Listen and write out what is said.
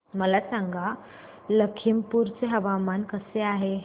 मला सांगा लखीमपुर चे हवामान कसे आहे